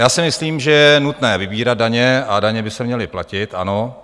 Já si myslím, že je nutné vybírat daně a daně by se měly platit, ano.